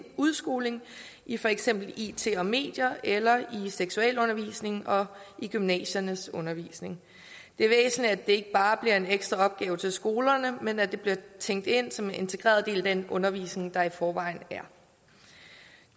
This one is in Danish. udskoling i for eksempel it og medier eller i seksualundervisningen og i gymnasiernes undervisning det er væsentligt at det ikke bare bliver en ekstra opgave til skolerne men at det bliver tænkt ind som en integreret del af den undervisning der er i forvejen